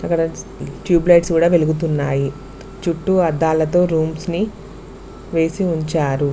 ఇక్కడ tube lights గూడా వెలుగుతున్నాయి చుట్టూ అద్దాలతో రూమ్స్ ని వేసి ఉంచారు.